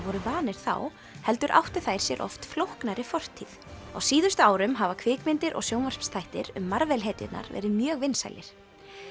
voru vanir þá heldur áttu þær sér oft flóknari fortíð á síðustu árum hafa kvikmyndir og sjónvarpsþættir um Marvel hetjurnar verið mjög vinsælir